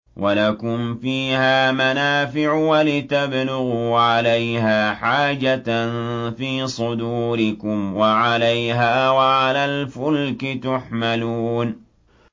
وَلَكُمْ فِيهَا مَنَافِعُ وَلِتَبْلُغُوا عَلَيْهَا حَاجَةً فِي صُدُورِكُمْ وَعَلَيْهَا وَعَلَى الْفُلْكِ تُحْمَلُونَ